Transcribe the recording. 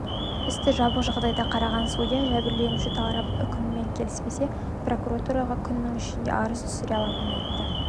істі жабық жағдайда қараған судья жәбірленуші тарап үкіммен келіспесе прокуратураға күнің ішінде арыз түсіре алатынын айтты